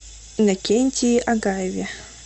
иннокентии агаеве